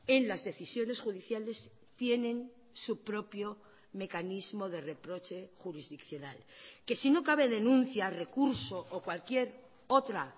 en las decisiones judiciales tienen su propio mecanismo de reproche jurisdiccional que si no cabe denuncia recurso o cualquier otra